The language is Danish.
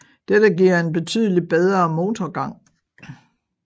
Dette giver en betydeligt bedre motorgang